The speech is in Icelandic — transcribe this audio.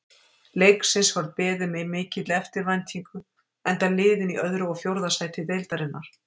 Leiksins var beðið með mikilli eftirvæntingu enda liðin í öðru og fjórða sæti deildarinnar.